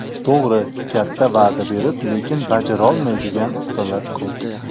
To‘g‘ri, katta va’da berib, lekin bajarolmaydigan ustalar ko‘p.